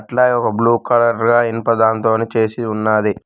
అలాగే ఒక blue colour లా ఇనుప దాంతోని చేసి ఉన్నాది